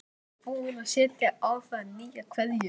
Ég er búin að setja á það nýja keðju